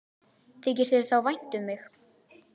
Þykir þér þá vænt um mig?